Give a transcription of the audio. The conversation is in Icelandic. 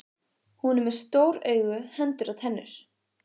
Hún er með stór augu, hendur, tennur.